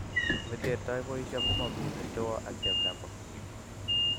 Meterertoi boisio ngomami mestowo ak cheplakwa.